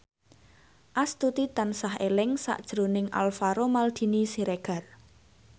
Astuti tansah eling sakjroning Alvaro Maldini Siregar